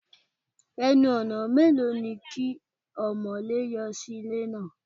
Ẹnu-ọ̀nà mélòó ni kí ọmọ̀lé yọ sí ilé náà?